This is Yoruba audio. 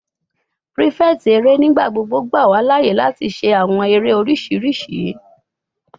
Prefect ere nigbagbogbo gba wa laaye lati ṣe awọn ere oriṣiriṣi